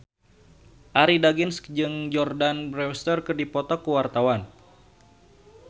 Arie Daginks jeung Jordana Brewster keur dipoto ku wartawan